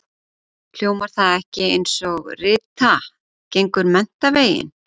Hljómar það ekki einsog Rita gengur menntaveginn?